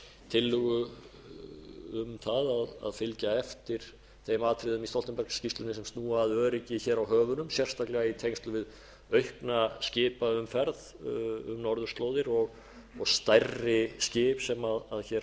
tillögu um það að fylgja eftir þeim atriðum í stoltenbergsskýrslunni sem snúa að öryggi hér á höfunum sérstaklega í tengslum við aukna skipaumferð um norðurslóðir og stærri skip sem hér